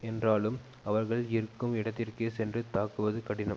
என்றாலும் அவர்கள் இருக்கும் இடத்திற்கே சென்று தாக்குவது கடினம்